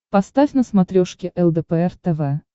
поставь на смотрешке лдпр тв